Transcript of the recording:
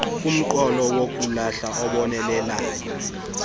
kumqolo wokulahla obonelelwayo